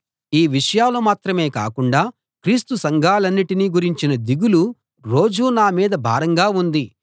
ఈ విషయాలు మాత్రమే కాకుండా క్రీస్తు సంఘాలన్నిటిని గురించిన దిగులు రోజూ నా మీద భారంగా ఉంది